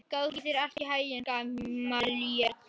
Gangi þér allt í haginn, Gamalíel.